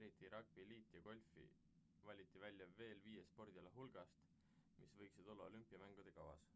eriti ragbi liit ja golf valiti välja veel viie spordiala hulgast mis võiksid olla olümpiamängude kavas